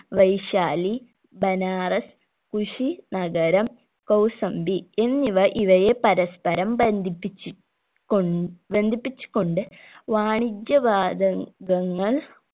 Vaishali Banaras Kushinagar Kaushambi എന്നിവ ഇവയെ പരസ്പ്പരം ബന്ധിപ്പിച്ചു കൊൺ ബന്ധിപ്പിച്ചു കൊണ്ട് വാണിജ്യ വാത കങ്ങൾ